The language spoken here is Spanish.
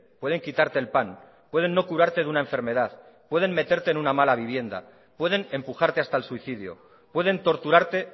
pueden quitarte el pan pueden no curarte de una enfermedad pueden meterte en una mala vivienda pueden empujarte hasta el suicidio pueden torturarte